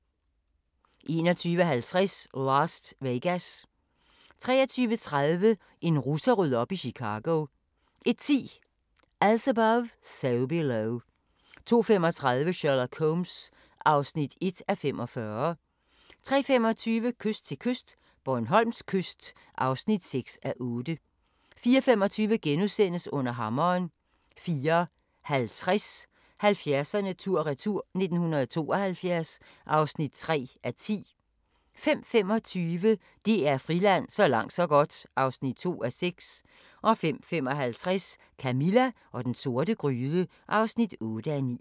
21:50: Last Vegas 23:30: En russer rydder op i Chicago 01:10: As Above, So Below 02:35: Sherlock Holmes (1:45) 03:25: Kyst til kyst - Bornholms kyst (6:8) 04:25: Under hammeren * 04:50: 70'erne tur-retur: 1972 (3:10) 05:25: DR Friland: Så langt så godt (2:6) 05:55: Camilla og den sorte gryde (8:9)